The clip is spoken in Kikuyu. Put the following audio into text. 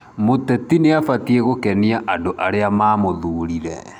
Mũteti nĩabatiĩ gũkenĩa andũ arĩa mamũthuurire